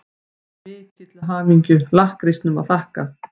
Mikið til hamingju-lakkrísnum að þakka.